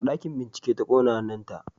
A ɗakin bincike ta kona hannunta